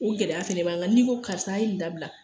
O gɛlɛya fɛnɛ b'a kan, n'i ko karisa a ye ni dabila.